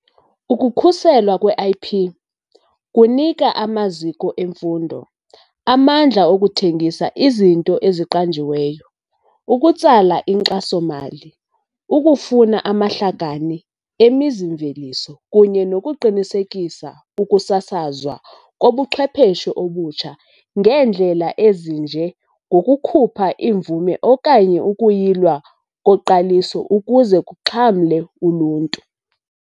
Ukukhuselwa kwe-IP kunika amaziko emfundo amandla okuthengisa izinto eziqanjiweyo, ukutsala inkxaso-mali, ukufuna amahlakani emizi-mveliso kunye nokuqinisekisa ukusasazwa kobuchwepheshe obutsha ngeendlela ezinje ngokukhupha imvume okanye ukuyilwa koqaliso ukuze kuxhamle uluntu.